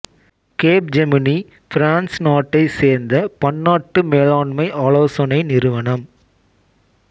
Capgemini France நாட்டைச் சேர்ந்த பன்னாட்டு மேலாண்மை ஆலோசனை நிறுவனம்